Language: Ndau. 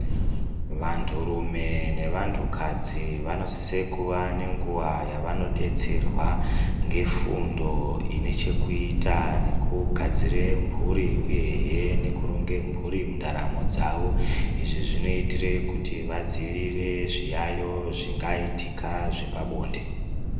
Vantu rume nevantu kadzi vanosise kuva nenguwa yavanodetserwa ngefundo inechekuita nekugadzire mhuri uyehe nekuronge mhuri ndaramo dzawo izvi zvinoitire kuti vadziirire zviyayo zvingaitika zvepabonde.